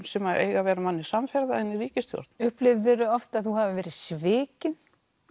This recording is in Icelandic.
sem eiga að vera manni samferða í ríkisstjórn upplifðir þú oft að þú hafir verið svikin